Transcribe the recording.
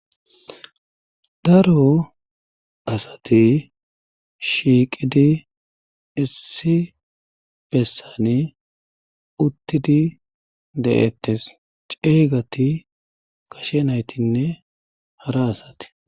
Daro asati shiiqidi issi bessani uttidi de'ettes ceeygati kashe naytinne hara asati.